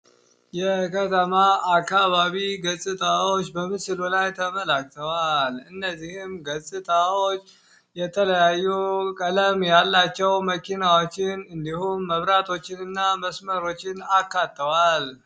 የከተማ አካባቢ ገፅታዎች በምስሉ ላይ ተመልክተዋል። እነዚህም ገፅታዎች የተለያዩ ቀለም ያላቸው መ መኪናዎችን፣ መብራቶችን ፣እንዲሁም መስመሮችን አካተዋል።